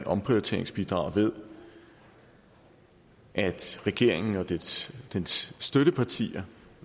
omprioriteringsbidraget ved at regeringen og dens dens støttepartier